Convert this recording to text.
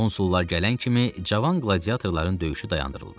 Konsullar gələn kimi cavan qladiatorların döyüşü dayandırıldı.